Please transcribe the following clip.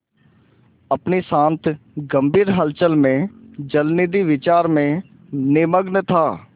अपनी शांत गंभीर हलचल में जलनिधि विचार में निमग्न था